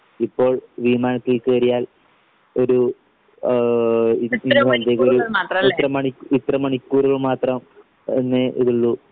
ഇപ്പോൾ വിമാനത്തിൽ കേറിയാൽ ഒരു ആഹ് ഇത്ര മണി ഇത്ര മണിക്കൂറ് മാത്രം എന്നേ ഇതുള്ളൂ